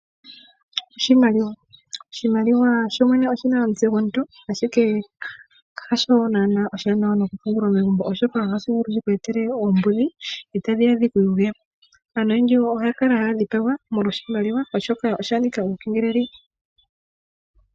Oshimaliwa oshina omutse gwomuntu, ashike hasho naana oshiwanawa okupungula megumbo oshoka ohashi vulu okuku etela oombudhi, dho tadhiya dhiku yuge. Aantu oyendji oya kala haya dhipagwa, molwa oshimaliwa oshoka osha nika uukengeleli.